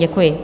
Děkuji.